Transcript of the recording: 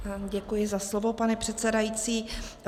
Děkuji za slovo, pane předsedající.